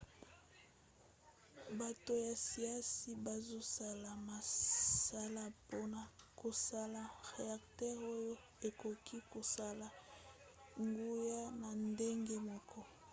bato ya siansi bazosala mosala mpona kosala reacteur oyo ekoki kosala nguya na ndenge moko